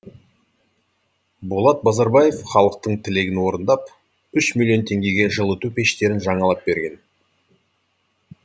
болат базарбаев халықтың тілегін орындап үш миллион теңгеге жылыту пештерін жаңалап берген